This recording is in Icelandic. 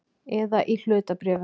Eða í hlutabréfum.